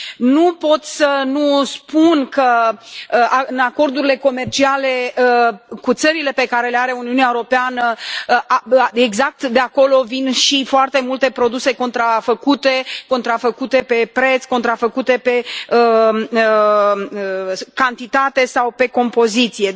Nu pot să nu spun că în acordurile comerciale cu țările pe care le are Uniunea Europeană, exact de acolo vin și foarte multe produse contrafăcute, contrafăcute pe preț, contrafăcute pe cantitate sau pe compoziție.